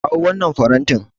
Kawo wannan farantin.